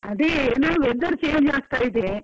ಅದೇ ಎನಾ weather change ಆಗ್ತಾ ಇದೆ.